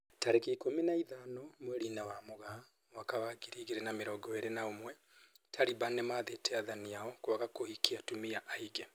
Tariki ikũmi na ithano mweri-inĩ wa Mũgaa mwaka wa ngiri igĩrĩ na mĩrongo ĩrĩ na ũmwe, Taliban nĩmathĩte athani ao kwaga kũhikia atumia aingĩ